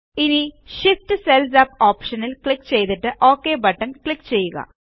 ഇനി Shift cells up ഓപ്ഷനിൽ click ചെയ്തിട്ട് ഒക് ക്ലിക്ക് ചെയ്യുക